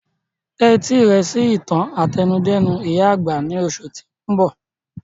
Tẹ etí rẹ sí ìtàn àtẹnudẹ́nu ìyá àgbà ni oṣù ti oun bọ!